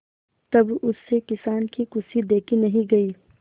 तब उससे किसान की खुशी देखी नहीं गई